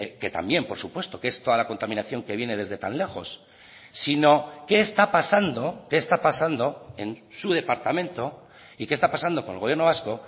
que también por supuesto que es toda la contaminación que viene desde tan lejos sino qué está pasando qué está pasando en su departamento y qué está pasando con el gobierno vasco